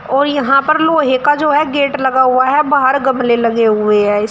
और यहां पर लोहे का जो है गेट लगा हुआ है बाहर गमले लगे हुए हैं इस--